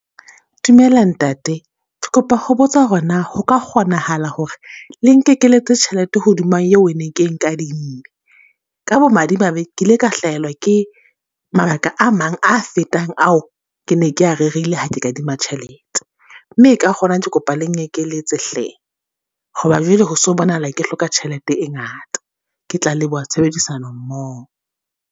Dumela ntate, ke kopa ho botsa hore na ho ka kgonahala hore le nkekeletse tjhelete hodima eo e neng ke e nkadimme? Ka bo madimabe, ke ile ka hlahelwa ke mabaka a mang a fetang ao ke ne ke ya rerile ha ke kadima tjhelete. Mme ka hona ke kopa le nkekeletse hle. Ho ba jwale, ho so bonahala ke hloka tjhelete e ngata. Ke tla leboha tshebedisano mmoho.